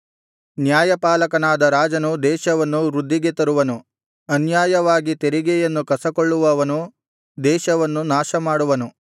ನ್ಯಾಯಪಾಲಕನಾದ ರಾಜನು ದೇಶವನ್ನು ವೃದ್ಧಿಗೆ ತರುವನು ಅನ್ಯಾಯವಾಗಿ ತೆರಿಗೆಯನ್ನು ಕಸಕೊಳ್ಳುವವನು ದೇಶವನ್ನು ನಾಶಮಾಡುವನು